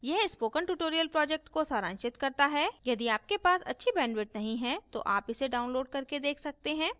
यह spoken tutorial project को सारांशित करता है यदि आपके पास अच्छी bandwidth नहीं है तो आप इसे download करके देख सकते हैं